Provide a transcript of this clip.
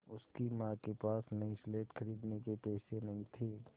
उसकी माँ के पास नई स्लेट खरीदने के पैसे नहीं थे